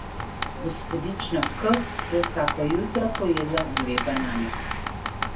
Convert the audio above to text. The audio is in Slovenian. Gospodična K je vsako jutro pojedla dve banani.